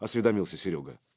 осведомился серёга